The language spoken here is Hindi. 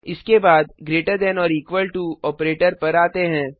इसके बाद greater than or equal to operator पर आते हैं